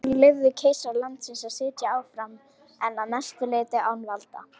Frakkar leyfðu keisara landsins að sitja áfram en að mestu leyti án valda.